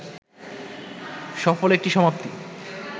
সফল একটি সমাপ্তি